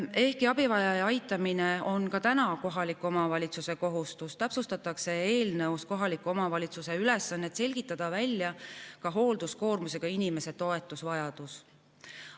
Ehkki abivajaja aitamine on ka täna kohaliku omavalitsuse kohustus, täpsustatakse eelnõus kohaliku omavalitsuse ülesannet selgitada välja ka hoolduskoormusega inimese toetusvajadus.